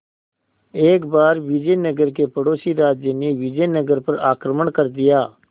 एक बार विजयनगर के पड़ोसी राज्य ने विजयनगर पर आक्रमण कर दिया